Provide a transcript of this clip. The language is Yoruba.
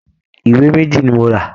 Ìwé méjì ni mo rà